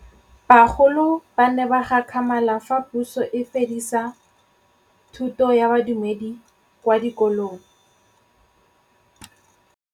Bagolo ba ne ba gakgamala fa Pusô e fedisa thutô ya Bodumedi kwa dikolong.